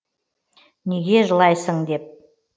неге жылайсың деп